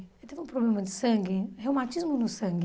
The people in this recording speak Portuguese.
Ele teve um problema de sangue, reumatismo no sangue.